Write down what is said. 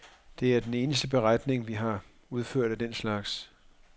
Det er den eneste beregning, vi har udført af den slags.